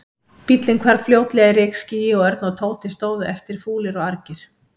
Bíllinn hvarf fljótlega í rykskýi og Örn og Tóti stóðu eftir, fúlir og argir.